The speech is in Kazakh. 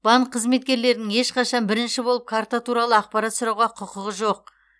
банк қызметкерлерінің ешқашан бірінші болып карта туралы ақпарат сұрауға құқығы жоқ